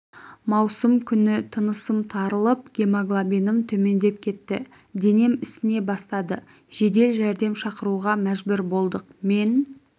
маусым күні тынысым тарылып гемоглобинім төмендеп кетті денем ісіне бастады жедел жәрдем шақыруға мәжбүр болдық мен